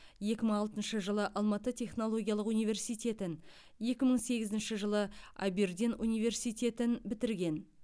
екі мың алтыншы жылы алматы технологиялық университетін екі мың сегізінші жылы абердин университетін бітірген